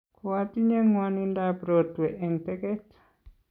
koatinye ng'wanindab rotwe eng' teget